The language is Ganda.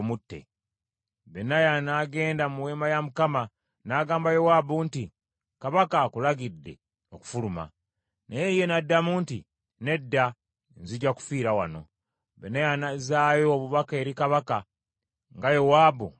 Benaya n’agenda mu weema ya Mukama , n’agamba Yowaabu nti, “Kabaka akulagidde okufuluma.” Naye ye n’addamu nti, “Nedda, nzija kufiira wano.” Benaya n’azzaayo obubaka eri kabaka, nga Yowaabu bwe yamuddamu.